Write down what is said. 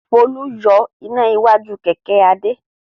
Folú yọ iná iwájú kẹ̀kẹ́ Adé.